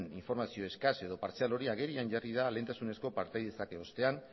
informazio eskas edo partzial hori agerian jarri da lehentasunezko partaidetzak erostean